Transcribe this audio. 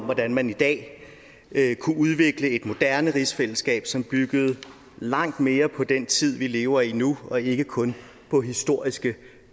hvordan man i dag kunne udvikle et moderne rigsfællesskab som byggede langt mere på den tid vi lever i nu og ikke kun på historiske